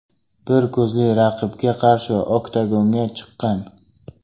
Bir ko‘zli raqibga qarshi oktagonga chiqqan.